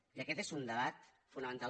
i aquest és un debat fonamental